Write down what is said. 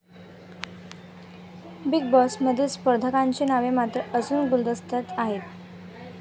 Big बॉसमधील स्पर्धकांची नावे मात्र अजून गुलदस्त्यातच आहेत.